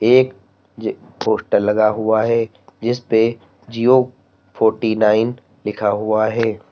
एक ये पोस्टर लगा हुआ है जिस पे जियो फोर्टी-नाइन लिखा हुआ है।